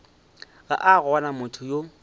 ga a gona motho yo